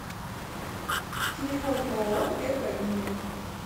телефон ооо первая линия